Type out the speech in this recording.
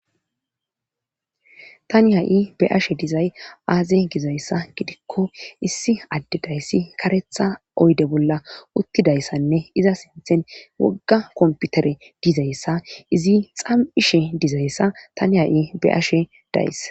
tani ha7i be ashe dizay aaze gizayssa gidikko issi addedayssi karetha oyde bolla uttidayssanne iza sinthen wogga komputere dizayssa izi xam7ishe dizayssa tani ha7i be ashe days